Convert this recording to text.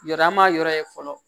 Yɔrɔ ma yɔrɔ ye fɔlɔ